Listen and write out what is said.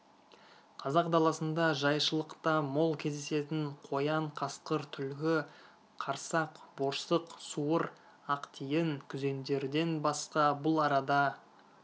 қазақ даласында жайшылықта мол кездесетін қоян қасқыр түлкі қарсақ борсық суыр ақтиін күзендерден басқа бұл арада